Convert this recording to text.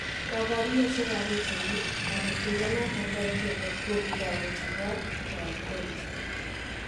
Kaparunoshek ap.pichainik, Lapatindet notok po Ethiopia kukitok ko chopot 'koon koristo'